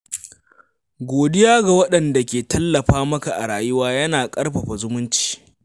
Godiya ga waɗanda ke tallafa maka a rayuwa yana ƙarfafa zumunci.